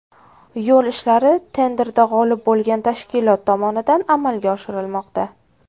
Yo‘l ishlari tenderda g‘olib bo‘lgan tashkilot tomonidan amalga oshirilmoqda.